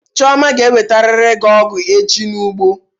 Chioma ga ewetariri gị ọgụ echi n'ụgbọ!